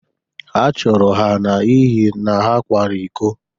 Achụpụrụ ha n’ihi na ha kwara iko.